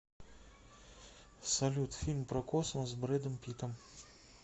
салют фильм про космос с брэдом питтом